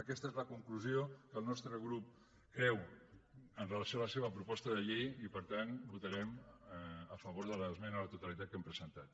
aquesta és la conclusió que el nostre creu amb relació a la seva proposta de llei i per tant votarem a favor de l’esmena a la totalitat que hem presentat